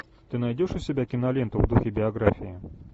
ты найдешь у себя киноленту в духе биографии